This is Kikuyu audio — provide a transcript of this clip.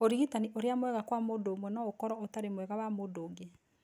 Ũrigitani ũria mwega kwa mũndũ ũmwe no ũkoro ũtarĩ mwega wa mũndũ ũngĩ.